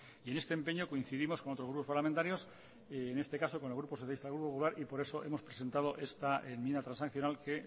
y en este empeño coincidimos con otros grupos parlamentarios en este caso con el grupo socialistas grupo popular por eso hemos presentado esta enmienda transaccional que